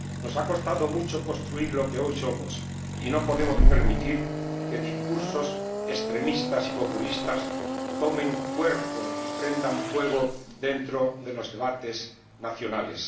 Nos ha costado mucho construir lo que hoy somos y no podemos permitir que discursos extremistas y populistas tomen cuerpo y prendan fuego dentro de los debates nacionales.